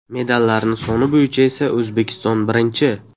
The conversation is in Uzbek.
Medallarni soni bo‘yicha esa O‘zbekiston birinchi!